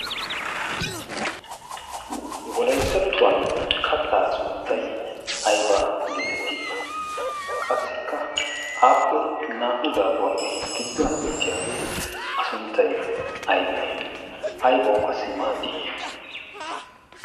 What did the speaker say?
Wolayttettuwan kattaa sunttay aybaa geetettii? Qassikka aappe naa'u daabuwaappe gidduwan uttiyaagee a sunttay aybee aybawu qassi maaddii?